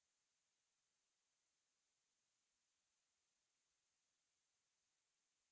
यह स्क्रिप्ट देवेन्द्र कैरवान द्वारा अनुवादित है तथा आई आई टी बॉम्बे की ओर से मैं रवि कुमार अब आपसे विदा लेता हूँ धन्यवाद